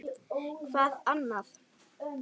Hvað annað?